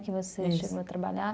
Que você chegou a trabalhar.